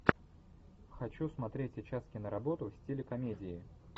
хочу смотреть сейчас киноработу в стиле комедии